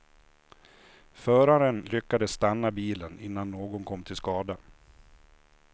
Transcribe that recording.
Föraren lyckades stanna bilen innan någon kom till skada.